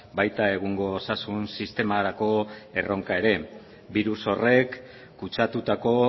baita egungo osasun sistemarako erronka ere birus horrek kutsatutako